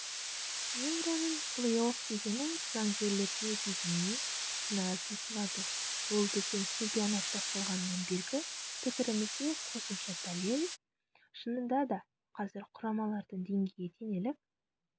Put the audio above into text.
еуроның плей-офф кезеңі жанкүйерлерге дегеннен пенальти сыйлады бұл біздің чемпионат басталғаннан бергі пікірімізге қосымша дәлел шынында да қазір құрамалардың деңгейі теңеліп